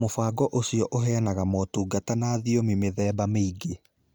Mũbango ũcio ũheanaga motungata na thiomi mĩthemba mĩingĩ.